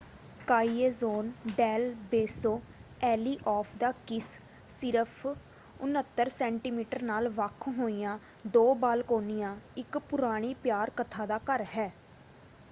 ਕਾਈਏਜੋਨ del Beso alley of the kiss. ਸਿਰਫ 69 centimetre ਨਾਲ ਵੱਖ ਹੋਈਆਂ ਦੋ ਬਾਲਕੋਨੀਆਂ ਇੱਕ ਪੁਰਾਣੀ ਪਿਆਰ ਕਥਾ ਦਾ ਘਰ ਹੈ।